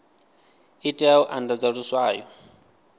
i tea u andadza luswayo